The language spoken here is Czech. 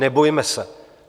Nebojme se!